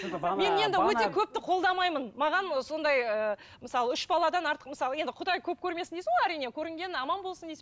мен енді өте көпті қолдамаймын маған ы сондай ыыы мысалы үш баладан артық мысалы енді құдай көп көрмесін дейсің ғой әрине көрінгені аман болсын дейсің